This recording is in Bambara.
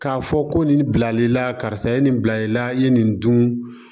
K'a fɔ ko nin bilali la karisa ye nin bila i la i ye nin dun